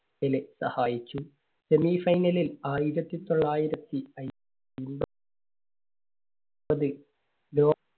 Pele സഹായിച്ചു. semi final ലിൽ ആയിരത്തി തൊള്ളായിരത്തി